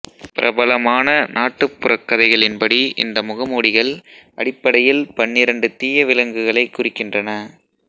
பிரபலமான நாட்டுப்புறக் கதைகளின்படி இந்த முகமூடிகள் அடிப்படையில் பன்னிரண்டு தீய விலங்குகளைக் குறிக்கின்றன